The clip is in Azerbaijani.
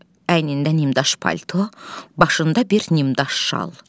Əynində nimdaş palto, başında bir nimdaş şal.